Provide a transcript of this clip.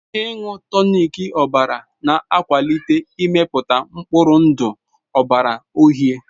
Ịṅụ tonic ọbara na-akwalite mmepụta mkpụrụ ndụ ọbara uhie.